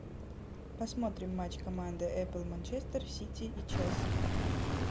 посмотрим матч команды апл манчестер сити и челси